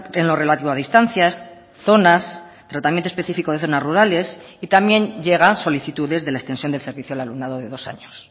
en lo relativo a distancias zonas tratamiento específico de zonas rurales y también llegan solicitudes de la extensión del servicio al alumnado de dos años